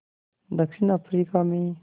दक्षिण अफ्रीका में